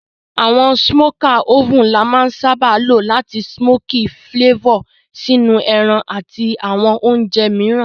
Àwon smoker oven la má n sábá lo làti smoky flavor sínú ẹran àti àwon ounje mìíràn